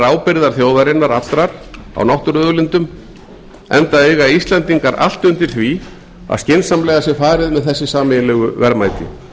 ábyrgðar þjóðarinnar allrar á náttúruauðlindum enda eiga íslendingar allt undir því að skynsamlega sé farið með þessi sameiginlegu verðmæti